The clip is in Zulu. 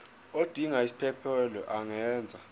odinga isiphesphelo angenza